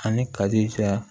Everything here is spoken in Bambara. Ani kalifiya